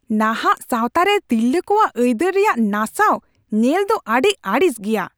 ᱱᱟᱦᱟᱜ ᱥᱟᱶᱛᱟᱨᱮ ᱛᱤᱨᱞᱟᱹ ᱠᱚᱣᱟᱜ ᱟᱹᱭᱫᱟᱹᱨ ᱨᱮᱭᱟᱜ ᱱᱟᱥᱟᱣ ᱧᱮᱞᱫᱚ ᱟᱹᱰᱤ ᱟᱹᱲᱤᱥ ᱜᱮᱭᱟ ᱾